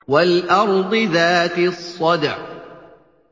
وَالْأَرْضِ ذَاتِ الصَّدْعِ